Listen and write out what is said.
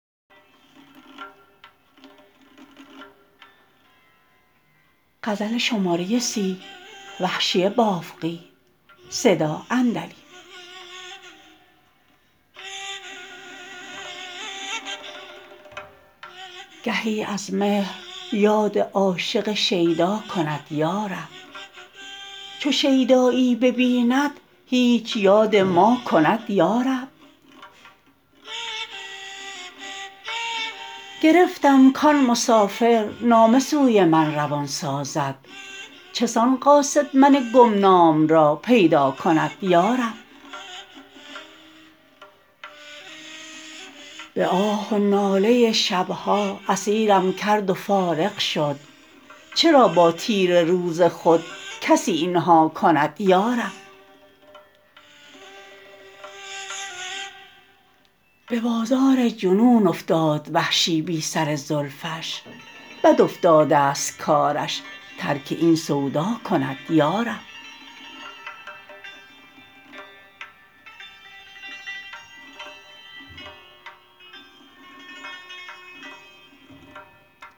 گهی از مهر یاد عاشق شیدا کند یا رب چو شیدایی ببیند هیچ یاد ما کند یا رب گرفتم کان مسافر نامه سوی من روان سازد چسان قاصد من گمنام را پیدا کند یا رب به آه و ناله شبها اسیرم کرد و فارغ شد چرا با تیره روز خود کسی اینها کند یا رب به بازار جنون افتاد وحشی بی سر زلفش بد افتادست کارش ترک این سودا کند یا رب